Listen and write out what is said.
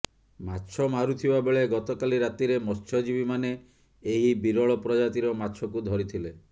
ମାଛ ମାରୁଥିବା ବେଳେ ଗତକାଲି ରାତିରେ ମତ୍ସ୍ୟଜୀବୀମାନେ ଏହି ବିରଳ ପ୍ରଜାତିର ମାଛକୁ ଧରିଥିଲେ